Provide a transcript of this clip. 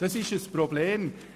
» Das ist ein Problem.